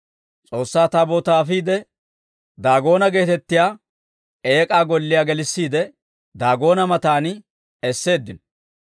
S'oossaa Taabootaa afiide, Daagoona geetettiyaa eek'aa golliyaa gelissiide, Daagoona matan esseeddino.